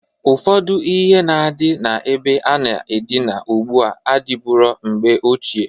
Ụfọdụ ihe na-adị na-ebe a na-adịna ụgbụa adịburo mgbe ochie.